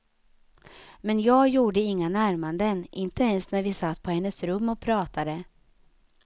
Men jag gjorde inga närmanden, inte ens när vi satt på hennes rum och pratade.